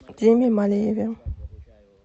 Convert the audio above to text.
диме малееве